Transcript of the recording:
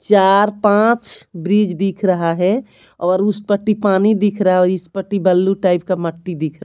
चार पांच ब्रिज दिख रहा है और उस पट्टी पानी दिख रहा है और इस पट्टी बल्लू टाइप का मट्टी दिख रहा--